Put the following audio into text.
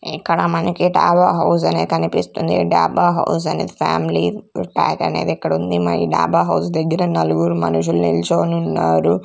ఇక్కడ మనకి డాబా హౌస్ అనేది కనిపిస్తుంది. డాబా హౌస్ అనేది ఫ్యామిలీ ప్యాక్ అనేది ఇక్కడ ఉంది మరి డాబా హౌస్ దగ్గర నలుగురు మనుషులు నిల్చొని ఉన్నారు.